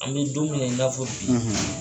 An bɛ don min na i n'a fɔ bi